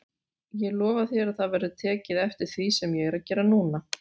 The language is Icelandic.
Ég lofa þér að það verður tekið eftir því sem ég er að gera núna.